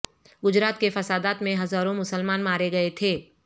گجرا ت کے فسادات میں ہزاورں مسلمان مارے گئے تھے